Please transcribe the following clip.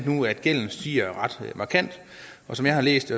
nu at gælden stiger ret markant som jeg har læst